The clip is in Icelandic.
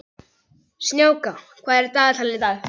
Snjáka, hvað er í dagatalinu í dag?